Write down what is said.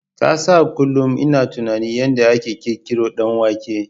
Ka san kunlun ina tunanin yanda aka ƙirƙiron danwanke